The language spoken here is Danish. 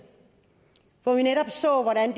hvor vi netop så hvordan